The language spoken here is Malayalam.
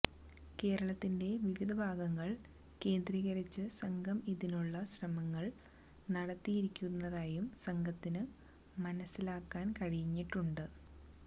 കേരളത്തിന്റെ വിവിധഭാഗങ്ങള് കേന്ദ്രീകരിച്ച് സംഘം ഇതിനുള്ള ശ്രമങ്ങള് നടത്തിയിരുന്നതായും സംഘത്തിന് മനസിലാക്കാന് കഴിഞ്ഞിട്ടുണ്ട്